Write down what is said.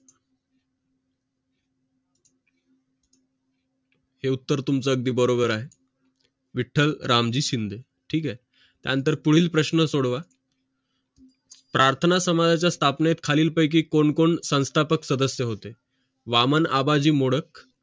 हे उत्तर तुमचं अगदी बरोबर आहे विठ्ठल रामजी शिंदे ठीक आहे त्यानंतर पुढील प्रश्न सोडवा प्रार्थना समाजाच्या स्थापनेत खालीलपैकी कोण कोण संस्थापक सदस्य होते वामन आबाजी मोडक